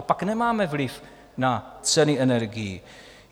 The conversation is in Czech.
A pak nemáme vliv na ceny energií.